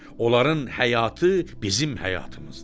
Onların həyatı bizim həyatımızdır.